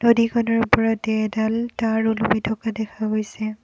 নদীখনৰ ওপৰতে এডাল তাঁৰ উলমি থকা দেখা গৈছে।